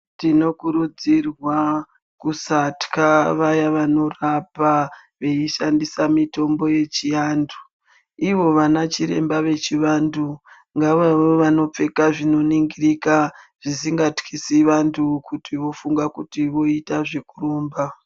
Tinokurudzirwa kusatya vaya vanorapa veishandisa mitombo yechiantu. Ivo vanachiremba vechivantu ngavave vanopfeka zvinoningirika, zvisingatyisi vantu kuti vofunga kuti voita zvekuru omba.